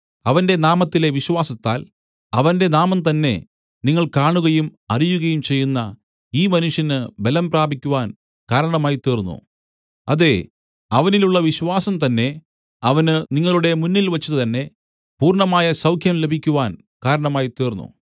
അവന്റെ നാമത്തിലെ വിശ്വാസത്താൽ അവന്റെ നാമംതന്നെ നിങ്ങൾ കാണുകയും അറിയുകയും ചെയ്യുന്ന ഈ മനുഷ്യന് ബലം പ്രാപിക്കുവാൻ കാരണമായി തീർന്നു അതെ അവനിലുള്ള വിശ്വാസം തന്നെ അവന് നിങ്ങളുടെ മുന്നിൽവച്ചു തന്നെ പൂർണ്ണമായ സൗഖ്യം ലഭിക്കുവാൻ കാരണമായി തീർന്നു